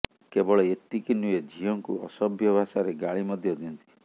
କେବଳ ଏତିକି ନୁହେଁ ଝିଅଙ୍କୁ ଅସଭ୍ୟ ଭାଷାରେ ଗାଳି ମଧ୍ୟ ଦିଅନ୍ତି